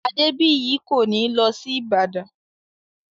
Adébìyí kò ní lọ sí Ìbàdàn